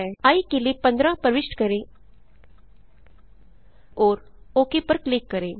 आई के लिए 15 प्रविष्ट करें और ओक पर क्लिक करें